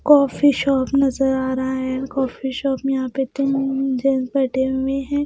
Coffee shop नजर आ रहा है कॉफी शॉप में यहाँ पे तीन जेन्टस बैठे हुए हैं।